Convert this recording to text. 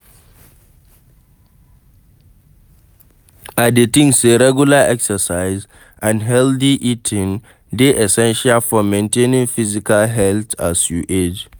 I dey think say regular exercise and healthy eating dey essential for maintaining physical health as you age.